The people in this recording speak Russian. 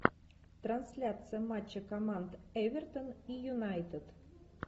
трансляция матча команд эвертон и юнайтед